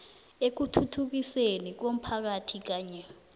ekuthuthukisweni komphakathi kanye